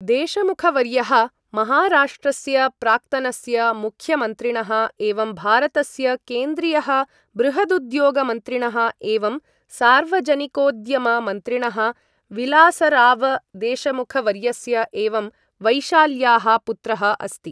देशमुखवर्यः महाराष्ट्रस्य प्राक्तनस्य मुख्यमन्त्रिणः एवं भारतस्य केन्द्रीयः बृहदुद्योगमन्त्रिणः एवं सार्वजनिकोद्यम मन्त्रिणः विलासराव देशमुखवर्यस्य एवं वैशाल्याः पुत्रः अस्ति।